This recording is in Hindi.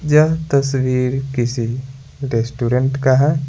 यह तस्वीर किसी रेस्टोरेंट का है।